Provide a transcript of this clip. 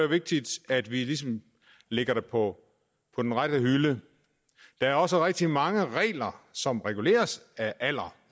vigtigt at vi ligesom lægger det på den rette hylde der er også rigtig mange regler som reguleres af alder